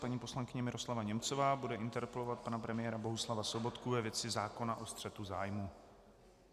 Paní poslankyně Miroslava Němcová bude interpelovat pana premiéra Bohuslava Sobotku ve věci zákona o střetu zájmů.